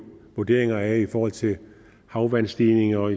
vurderinger i forhold til havvandstigninger